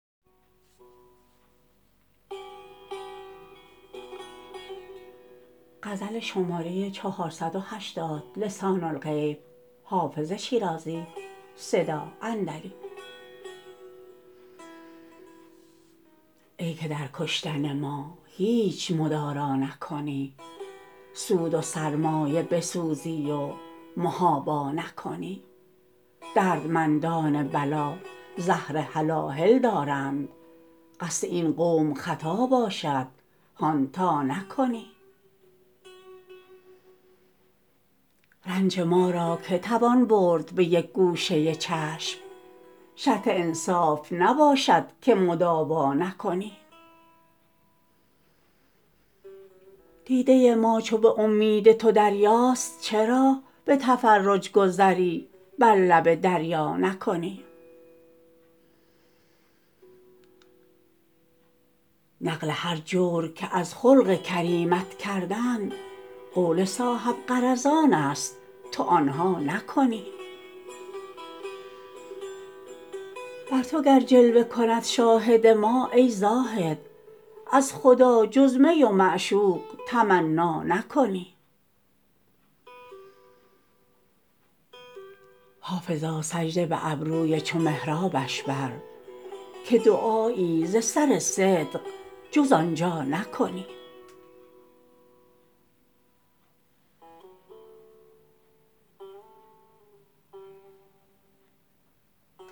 ای که در کشتن ما هیچ مدارا نکنی سود و سرمایه بسوزی و محابا نکنی دردمندان بلا زهر هلاهل دارند قصد این قوم خطا باشد هان تا نکنی رنج ما را که توان برد به یک گوشه چشم شرط انصاف نباشد که مداوا نکنی دیده ما چو به امید تو دریاست چرا به تفرج گذری بر لب دریا نکنی نقل هر جور که از خلق کریمت کردند قول صاحب غرضان است تو آن ها نکنی بر تو گر جلوه کند شاهد ما ای زاهد از خدا جز می و معشوق تمنا نکنی حافظا سجده به ابروی چو محرابش بر که دعایی ز سر صدق جز آن جا نکنی